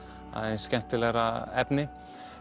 aðeins skemmtilegra efni